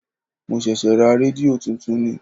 Mo ṣẹ̀ṣẹ̀ ra rédíò tuntun ni.